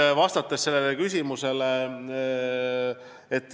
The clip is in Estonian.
Nüüd vastan küsimusele.